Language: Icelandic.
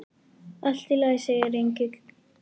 Allt í lagi, segir Egill.